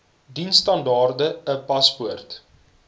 diensstandaard n paspoort